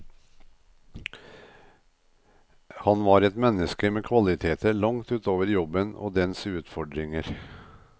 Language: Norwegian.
Han var et menneske med kvaliteter langt ut over jobben og dens utfordringer.